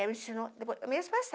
Ela ensinou, depois eu mesmo passava.